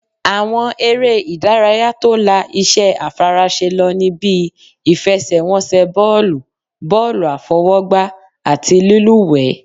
Àwọn eré ìdárayá tó la iṣẹ́ àfaraṣe lọ ní bíi,: ìfẹsẹ̀wọnsẹ̀ bọ́ọ̀lù, bọ́ọ̀lù àfọwọ́gbá, àti lílúwẹ̀ẹ́